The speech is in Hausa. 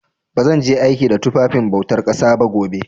Ba zan je aiki da tufafin bautar ƙasa ba gobe.